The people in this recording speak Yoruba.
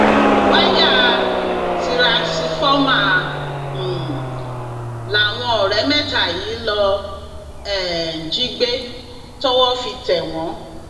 wáyà tìrúnsifọmà um làwọn ọrẹ mẹta yìí lọọ um jí gbé tọwọ fi tẹ wọn